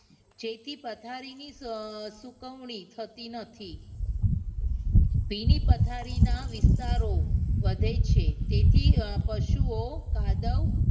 જેથી પથારીની અમ સુકવણી થતી નથી ભીની પથારીના વિસ્તારો વધે છે તેથી પશુઓં કાદવ